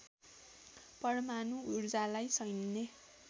परमाणु ऊर्जालाई सैन्य